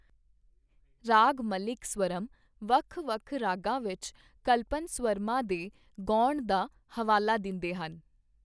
ਰਾਗਮਲਿਕ ਸਵਰਮ ਵੱਖ ਵੱਖ ਰਾਗਾਂ ਵਿੱਚ ਕਲਪਨਸਵਰਮਾਂ ਦੇ ਗਾਉਣ ਦਾ ਹਵਾਲਾ ਦਿੰਦੇਹਨ।